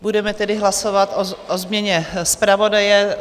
Budeme tedy hlasovat o změně zpravodaje.